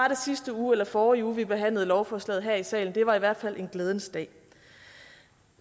i sidste uge eller forrige uge at vi behandlede lovforslaget her i salen det var i hvert fald en glædens dag